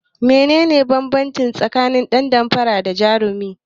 Menene banbanci tsakanin dan damfara da jarumi?